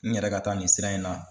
N yɛrɛ ka taa nin sira in na.